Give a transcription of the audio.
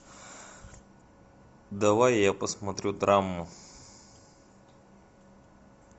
давай я посмотрю драму